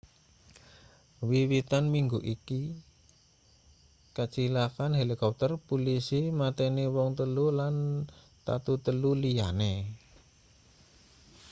wiwitan minggu iki kacilakan helikopter pulisi mateni wong telu lan tatu telu liyane